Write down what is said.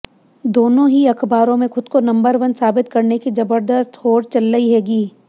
दोनों ही अखबारों में खुद को नंबर वन साबित करने की जबरदस्त होड़ चल्लई हेगी